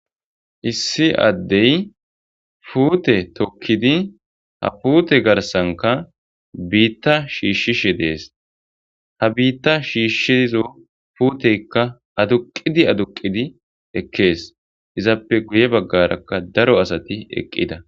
issi addey puute tokkidi ha puute garsanka biitta shiishshishe dees ha biitta shiishshiizo puuteykka aduqidi aduqidi ekkees izappe guye baggarakka daro asati eqqida